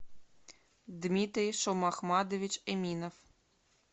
дмитрий шомахмадович эминов